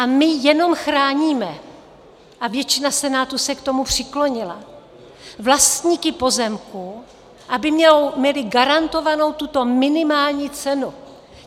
A my jenom chráníme, a většina Senátu se k tomu přiklonila, vlastníky pozemků, aby měli garantovanou tuto minimální cenu.